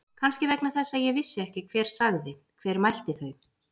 Kannski vegna þess að ég vissi ekki hver sagði. hver mælti þau.